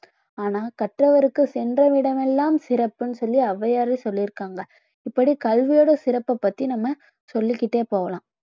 ஆனா கற்றவருக்கு சென்ற இடமெல்லாம் சிறப்புன்னு சொல்லி அவ்வையாரே சொல்லி இருக்காங்க இப்படி கல்வியோட சிறப்ப பத்தி நாம் சொல்லிக்கிட்டே போகலாம்